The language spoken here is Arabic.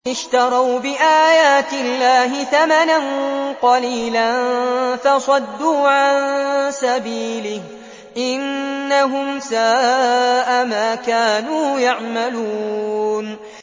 اشْتَرَوْا بِآيَاتِ اللَّهِ ثَمَنًا قَلِيلًا فَصَدُّوا عَن سَبِيلِهِ ۚ إِنَّهُمْ سَاءَ مَا كَانُوا يَعْمَلُونَ